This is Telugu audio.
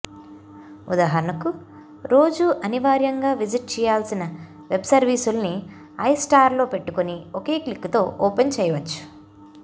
ఉదాహరణకు రోజూ అనివార్యంగా విజిట్ చేయాల్సిన వెబ్సర్వీసుల్ని ఐస్టార్ట్లో పెట్టుకుని ఒకే క్లిక్కుతో ఓపెన్ చేయవచ్చు